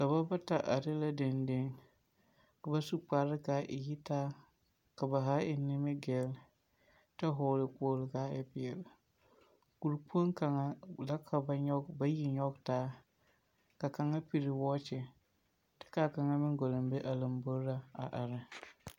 Dɔbɔ bata are la deŋdeŋ. Ka ba su kparre kaa yi taa, ka ba haa eŋ nimigell, ta hɔgele kpoglo kaa e peɛle, kurikpoŋ kaŋa la ka ba nyɔg bayi nyɔge taa, ka kaŋa piri wɔɔkye, ta kaa kaŋa meŋ gɔleŋ be a lambori ra a are.